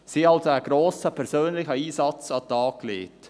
Sie haben also einen grossen persönlichen Einsatz an den Tag gelegt.